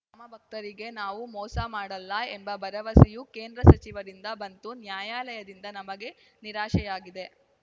ರಾಮಭಕ್ತರಿಗೆ ನಾವು ಮೋಸ ಮಾಡಲ್ಲ ಎಂಬ ಭರವಸೆಯೂ ಕೇಂದ್ರ ಸಚಿವರಿಂದ ಬಂತು ನ್ಯಾಯಾಲಯದಿಂದ ನಮಗೆ ನಿರಾಶೆಯಾಗಿದೆ